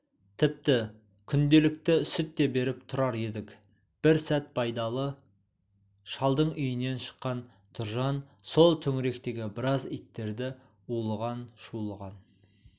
тіпті күнделікті сүт те беріп тұрар едік бір сәт байдалы шалдың үйінен шыққан тұржан сол төңіректегі біраз иттерді улыған-шулыған